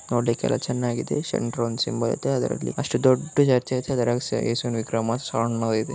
ನೋಡಲಿಕ್ಕೆ ಎಲ್ಲಾ ಚೆನ್ನಾಗಿದೆ ಸೆಂಟ್ರಲ್ಲಿ ಒಂದು ಸಿಂಬಲ್ ಇದೆ. ಅಷ್ಟು ದೊಡ್ಡ ಚರ್ಚಲ್ಲಿ ಏಸು ಇದೆ.